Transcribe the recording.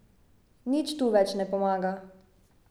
Nič tu več ne pomaga ...